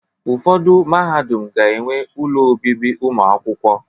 Ụfọdụ mahadum ga-enwe ụlọ obibi ụmụakwụkwọ